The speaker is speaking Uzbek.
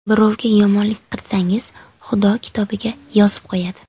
Birovga yomonlik qilsangiz, Xudo kitobiga yozib qo‘yadi.